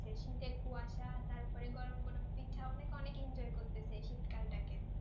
শীতের কুয়াশা তারপর গরম গরম পিঠা অনেক অনেক enjoy করছে এই শীতকালটাতে,